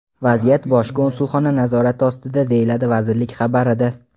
Vaziyat Bosh konsulxona nazorati ostida, deyiladi vazirlik xabarida.